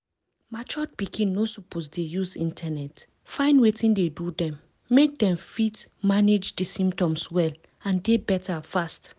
matured pikin no suppose dey use internet find wetin dey do them make them fit manage di symptoms well and dey better fast.